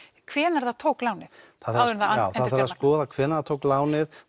hvenær það tók lánið já það þarf að skoða hvenær það tók lánið